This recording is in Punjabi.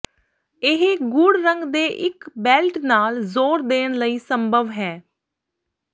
ਇਹ ਗੂੜ ਰੰਗ ਦੇ ਇੱਕ ਬੈਲਟ ਨਾਲ ਜ਼ੋਰ ਦੇਣ ਲਈ ਸੰਭਵ ਹੈ